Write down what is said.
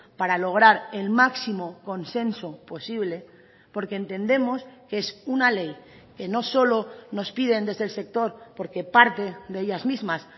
para lograr el máximo consenso posible porque entendemos que es una ley que no solo nos piden desde el sector porque parte de ellas mismas